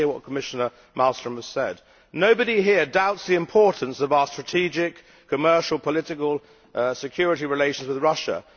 I hear what Commissioner Malmström has said nobody here doubts the importance of our strategic, commercial, political and security relations with Russia